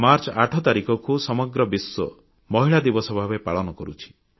March ଆଠ ତାରିଖକୁ ସମଗ୍ର ବିଶ୍ୱ ମହିଳା ଦିବସ ଭାବରେ ପାଳନ କରୁଛି